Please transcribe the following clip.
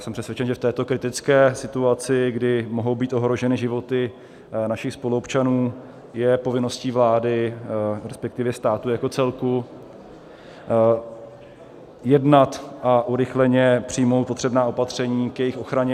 Jsem přesvědčen, že v této kritické situaci, kdy mohou být ohroženy životy našich spoluobčanů, je povinností vlády, respektive státu jako celku, jednat a urychleně přijmout potřebná opatření k jejich ochraně.